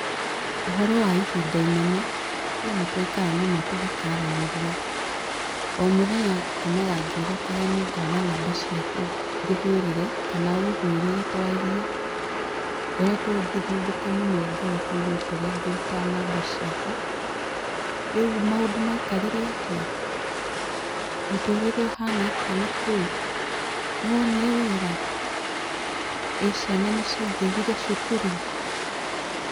Ũhoro wa ihinda inene? Hĩ nĩ twaikara mũno tũgĩkaranĩria.O mũthenya ngomaga ngĩhokaga nĩ ngona namba ciaku ngũhũrĩre kana ũhũrĩre twarie, ngoretwo ngĩthumbũka mũno ngoro kũriguo kũrĩa ngũruta namba ciaku. Rĩu maũndũ maikarire atĩa? Mũtũrĩre ũhana atĩa na kũu? Nĩ wonire wĩra? Ĩĩ ciana nĩ ciangĩrire cukuru?